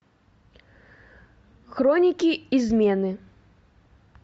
хроники измены